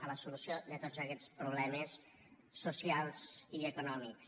a la solució de tots aquests problemes socials i econòmics